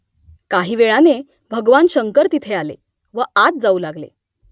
काही वेळाने भगवान शंकर तिथे आले व आत जाऊ लागले